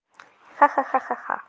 ха ха ха ха